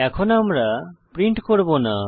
এখন আমরা প্রিন্ট করব না